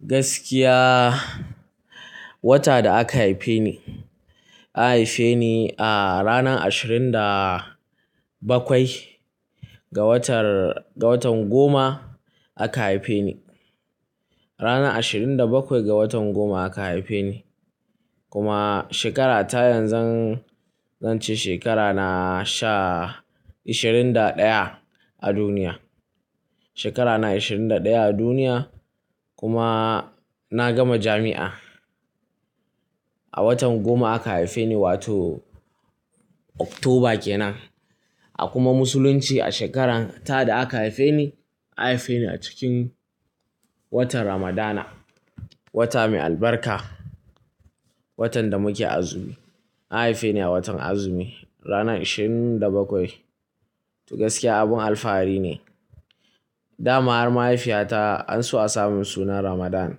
Gaskiya wata da aka haife ni, an haife ni a ranar ashirin da bakwai ga watan goma aka haife ni. Ranar ashirin da bakwai ga watan goma aka haife ni. Kuma shekara ta yanzu zan ce shekara na ashirin da ɗaya a duniya. Shekara na ashirin da ɗaya a duniya kuma na gama jami'a. A watan goma aka haife ni wato Oktoba kenan. A kuma musulunci a shekarar ta da aka haife ni, an haife ni a cikin watan Ramadana, wata mai albarka. Watan da muke azumi. An haife ni a watan azumi ranar ashirin da bakwai. To gaskiya abin alfahari ne. Da ma mahaifiyata an so a sa mun suna Ramadan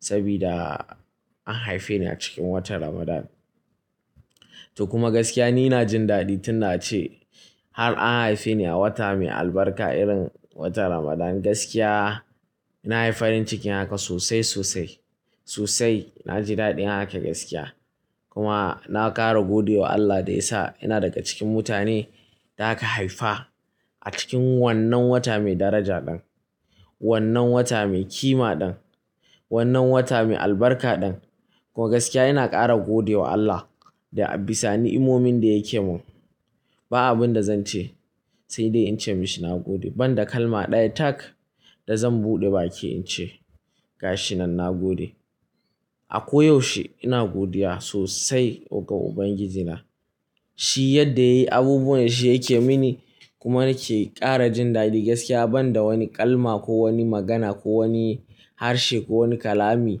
saboda an haife ni a cikin watan Ramadan. To kuma gaskiya ni ina jin daɗi tun da ace har an haife ni a wata mai albarka irin watan Ramadan. Gaskiya na yi farin cikin haka sosai sosai. Sosai na ji daɗin haka gaskiya kuma na ƙara gode wa Allah da ya sa ina daga cikin mutanen da aka haifa a cikin wannan wata mai daraja ɗin. Wannan wata mai kima ɗin. Wannan wata mai albarka ɗin. To gaskiya ina ƙara gode wa Allah da ya bisani ni'momin da yake mun. Ba abin da zan ce sai dai in ce mishi na gode. Ban da kalma ɗaya tak da zan buɗe baki in ce ga shi nan na gode. A ko yaushe ina godiya sosai ga Ubangiji na. Shi yadda ya yi abubuwan Shi yake mini kuma nake ƙara jin daɗi gaskiya ban da wani kalma ko wani magana ko wani harshe ko wani kalami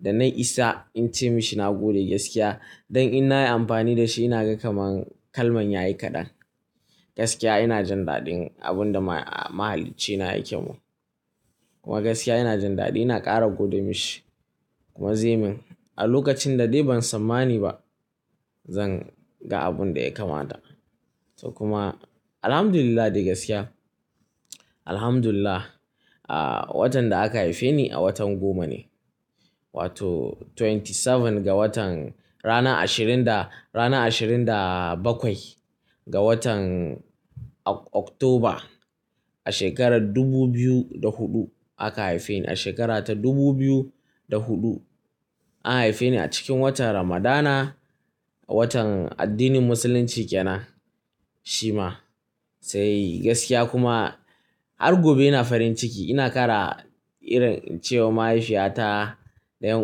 da na isa in ce mishi na gode gaskiya don in na yi amfani da shi ina ga kamar kalman yayi kaɗan. Gaskiya ina jin daɗin abun da Mahalicci na yake mun. Kuma gaskiya ina jin daɗi ina ƙara gode mishi. Kuma ze min a lokacin da dai ban tsammani ba zan ga abun da ya kamata. To kuma Alhamdulillah dai gaskiya. Alhamdulillah. Watan da aka haife ni a watan goma ne wato twenty seven ga watan, rana ashirin da bakwai ga watan Oktoba a shekarar dubu biyu da huɗu aka haife ni. A shekara ta dubu biyu da huɗu, an haife ni a cikin watan Ramadana. Watan addinin musulunci kenan shi ma. Sai gaskiya kuma har gobe ina farin ciki ina ƙara irin cewa mahaifiyata da 'yan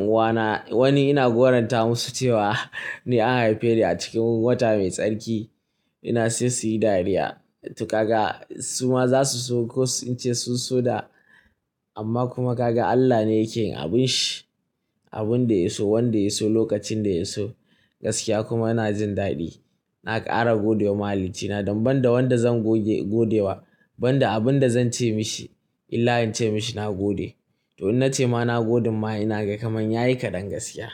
uwana wani ina goran ta musu cewa ni an haife ni a cikin wata mai tsarki. Ina so su yi dariya. To kaga su ma za su so in ce su so da amma kuma ka ga Allah ne yake yin abin Shi abin da Ya so, wanda Ya so, lokacin da Ya so. Gaskiya kuma ina jin daɗi. Na ƙara gode wa Mahalicci na don ban da wanda zan gode wa ban da abin da zan ce mishi illa in ce mishi na gode. To in na ce ma na goden ma ina ga kamar yayi kaɗan gaskiya.